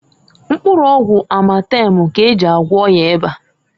Mkpụrụ ọgwụ Amatemu k'eji agwo ọya ịba.